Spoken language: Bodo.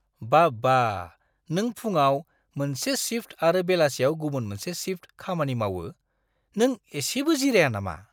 बाब्बा! नों फुंआव मोनसे शिफ्ट आरो बेलासियाव गुबुन मोनसे शिफ्ट खामानि मावो। नों एसेबो जिराया नामा?